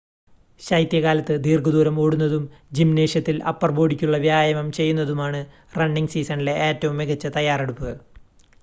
ശൈത്യകാലത്ത് ദീർഘ ദൂരം ഓടുന്നതും ജിംനേഷ്യത്തിൽ അപ്പർ ബോഡിക്കുള്ള വ്യായാമം ചെയ്യുന്നതുമാണ് റണ്ണിങ് സീസണിലെ ഏറ്റവും മികച്ച തയ്യാറെടുപ്പ്